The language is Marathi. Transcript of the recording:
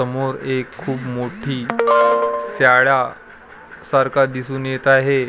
समोर एक खूप मोठी शाळा सारखा दिसून येत आहे.